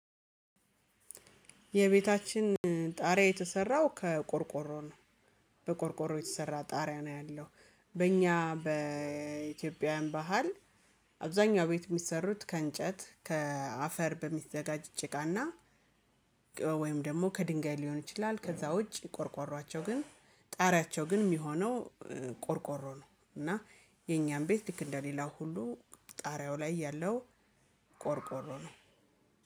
የቤታችን ጣሪያ የተሰራው ከቆርቆሮ ነው። በቆርቆሮ የተሰራ ጣሪያ ነው ያለው በእኛ በኢትዮጵያውያን ባህል። አብዛኛው ቤት የሚሰሩት ከእንጨት ከአፈር በሚዘጋጅ ጭቃና ወይም ደግሞ ከድንጋይ ሊሆን ይችላል። ከዛ ውጪ ቆርቆሮአቸው ግን ጣሪያቸው ግን የሚሆነው ቆርቆሮ ነው። እና የኛም ቤት ልክ እንደሌላው ሁሉ ጣሪያው ላይ ያለው ቆርቆሮ ነው።